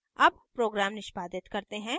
अब program निष्पादित करते हैं